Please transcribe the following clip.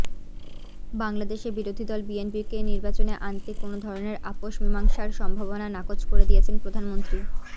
বাংলাদেশে বিরোধী দল বিএনপিকে নির্বাচনে আনতে কোনও ধরনের আপস মীমাংসার সম্ভাবনা নাকচ করে দিয়েছেন প্রধানমন্ত্রী